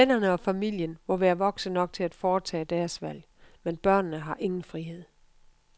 Vennerne og familien må være voksne nok til at foretage deres valg, men børnene har ingen frihed.